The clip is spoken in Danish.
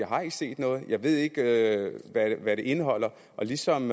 har set noget og jeg ved ikke hvad det indeholder og ligesom